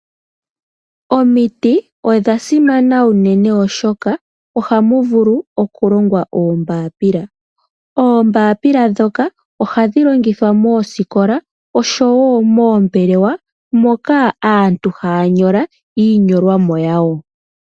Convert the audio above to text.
Omiti odha simana unene oshoka ohamu vulu okulongwa oombaapila. Oombaapila ndhoka ohadhi longithwa moosikola oshowo moombelewa moka aantu haa nyola iinyolwa yawo.